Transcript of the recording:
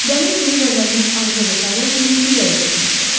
Gəlin kimi vəzənmiş Andreda Tavernenin ürəyi getmişdi.